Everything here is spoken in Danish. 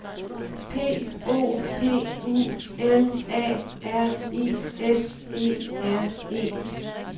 P O P U L A R I S E R E